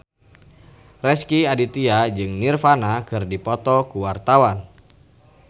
Rezky Aditya jeung Nirvana keur dipoto ku wartawan